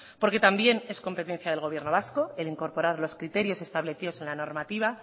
porque también es competencia del gobierno vasco el incorporar los criterios establecidos en la normativa